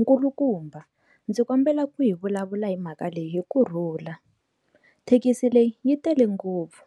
Nkulukumba ndzi kombela ku yi vulavula hi mhaka leyi hi kurhula thekisi leyi yi tele ngopfu